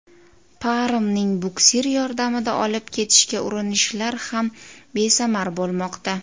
Paromni buksir yordamida olib ketishga urinishlar ham besamar bo‘lmoqda.